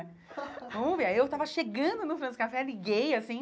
Vamos ver, aí eu estava chegando no France Café, liguei assim,